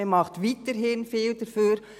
Man macht weiterhin viel dafür.